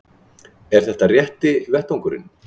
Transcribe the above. Er þetta rétti vettvangurinn?